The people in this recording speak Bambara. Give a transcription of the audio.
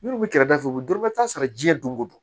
Minnu bɛ kɛrɛfɛ u bɛ dɔrɔmɛ tan sɔrɔ jiyɛn don o don